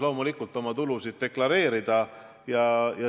Aitäh!